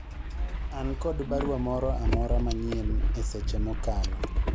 an kod barua moro amora manyien e seche mokalo